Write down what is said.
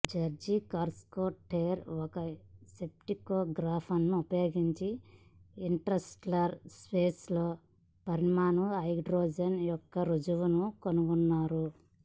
George Carruthers ఒక స్పెక్ట్రోగ్రాఫ్ను ఉపయోగించి ఇంటర్స్టెల్లార్ స్పేస్ లో పరమాణు హైడ్రోజన్ యొక్క రుజువును కనుగొన్నారు